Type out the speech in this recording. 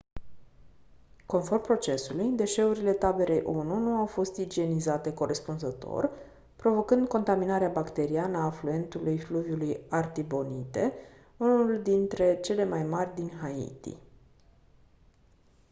conform procesului deșeurile taberei onu nu au fost igienizate corespunzător provocând contaminarea bacteriană a afluentului fluviului artibonite unul dintre cele mai mari din haiti